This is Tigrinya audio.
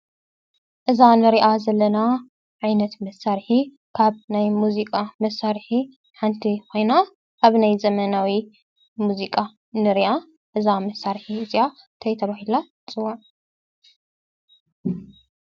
እዛ እንሪኣ ዘለና ዓይነት መሳርሒ ካብ ናይ ሙዚቃ መሳርሒ ሓንቲ ኮይና፡፡ ኣብ ናይ ዘመናዊ ሙዚቃ ንሪኣ። እዛ መሳርሒ እዚኣ እንታይ ተባሂላት ፅዋዕ?